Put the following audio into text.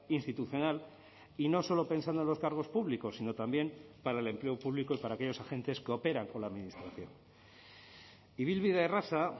institucional y no solo pensando en los cargos públicos sino también para el empleo público y para aquellos agentes que operan con la administración ibilbide erraza